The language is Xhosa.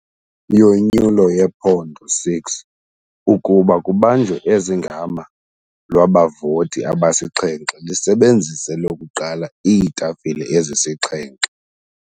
Yonyulo yephondo 6 kuba kubanjwe ezingama lwabavoti abasixhenxe lisebenzise lokuqala iitafile ezisixhenxe.